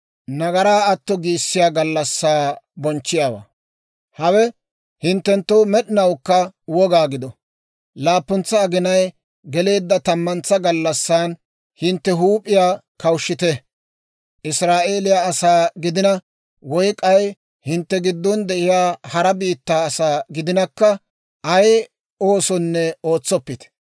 «Hawe hinttenttoo med'inawukka woga gido: laappuntsa aginay geleedda tammuntsa gallassan hintte huup'iyaa kawushshite; Israa'eeliyaa asaa gidina woy k'ay hintte giddon de'iyaa hara biittaa asaa gidinakka, ay oosonne ootsoppite.